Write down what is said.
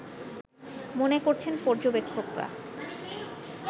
মনে করছেন পর্যবেক্ষকরা